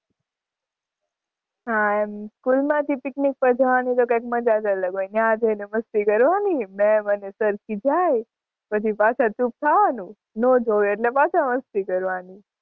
હાં એમ school માંથી picnic પર જવાની તો કઈક મજા જઅલગ હોય. ત્યાં જઇ ને મસ્તી કરવાની, ma'am અને sir ખીજાય, પછી પાછા ચૂપ થવાનું, નો જોવે એટલે પાછા મસ્તી કરવાની.